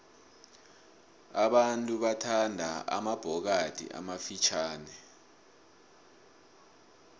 abantu bathanda amabhokathi amafitjhani